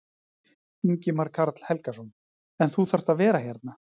Ingimar Karl Helgason: En þú þarft að vera hérna?